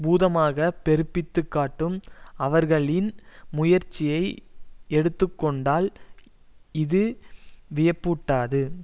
பூதமாக பெருப்பித்துக் காட்டும் அவர்களின் முயற்சியை எடுத்து கொண்டால் இது வியப்பூட்டாது